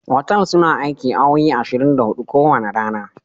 Otal suna aiki awowi ashirin da hudu ko wanda rana.